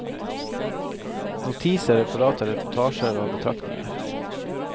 Notiser, referater, reportasjer og betraktninger.